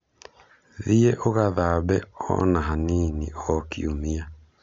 Thiĩ ũgathambe o na hanini o kiumia.